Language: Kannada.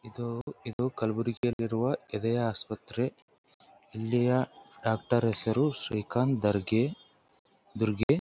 ಇದು ಇದು ಕಲ್ಬುರ್ಗಿಯಲ್ಲಿರುವ ಎದೆಯ ಆಸ್ಪತ್ರೆ ಇಲ್ಲಿಯ ಡಾಕ್ಟರ್ ಹೆಸರು ಶ್ರೀಕಾಂತ ದರ್ಗೆ ದುರ್ಗೆ .